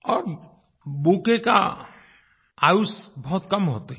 और बुकेट की आयुष बहुत कम होती है